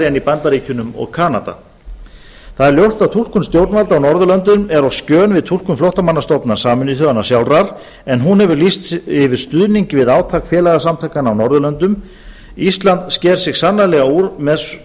en í bandaríkjunum og enda það er ljótt að túlkun stjórnvalda á norðurlöndum er á skjön við túlkun flóttamannastofnunar sameinuðu þjóðanna sjálfra en hún hefur lýst yfir stuðningi við átak félagasamtakanna á norðurlöndum ísland sker sig sannarlega úr með